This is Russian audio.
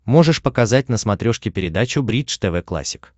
можешь показать на смотрешке передачу бридж тв классик